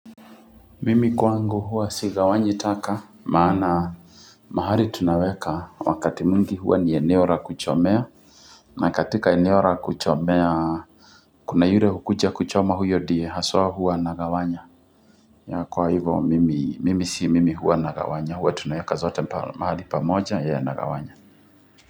Mimi kwangu huwa sigawanyi taka, maana mahali tunaweka wakati mwingi huwa ni eneo ra kuchomea. Na katika eneo ra kuchomea, kuna yure hukuja kuchoma huyo die, haswaa huwa anagawanya. Kwa ivo mimi si mimi huwa nagawanya. Huwa tunaweka zote mahali pamoja ye anagawanya.